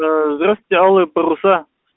аа здравствуйте алые паруса